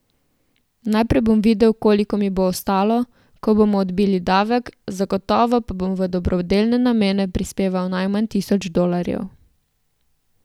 Najprej bom videl, koliko mi bo ostalo, ko bomo odbili davek, zagotovo pa bom v dobrodelne namene prispeval najmanj tisoč dolarjev.